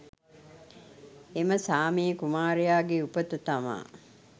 එම සාමයේ කුමාරයාගේ උපත තමා